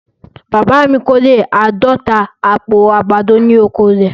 Bàbá mi kọ́rẹ̀ àádọ̀ta àpò àgbádọ̀ ní oko rẹ̀.